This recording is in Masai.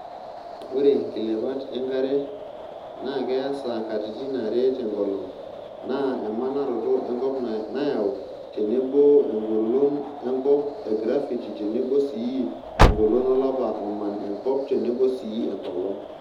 Ore nkilepat enkare na keasa katititn are tenkolong naa emanarotot enkop nayau tenebo engolon enkop e gravity tenebo sii engolon olapa oman enkop tenebo sii enkolong.